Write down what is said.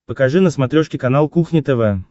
покажи на смотрешке канал кухня тв